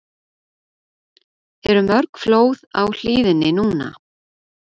Eru mörg flóð á hlíðinni núna?